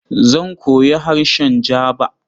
Zan koyi harshen Jaba.